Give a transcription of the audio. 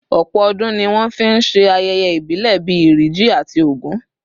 Ọ̀pọ̀ ọdún ni wọ́n fi ń ṣe ayẹyẹ ìbílẹ̀ bí Iri Ji àti Ògún